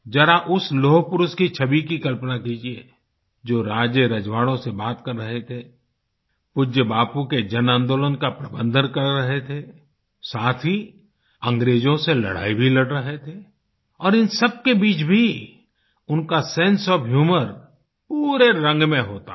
जरा उस लौहपुरुष की छवि की कल्पना कीजिये जो राजेरजवाड़ों से बात कर रहे थे पूज्य बापू के जनआंदोलन का प्रबंधन कर रहे थे साथ ही अंग्रेजों से लड़ाई भी लड़ रहे थे और इन सब के बीच भी उनका सेंसे ओएफ ह्यूमर पूरे रंग में होता था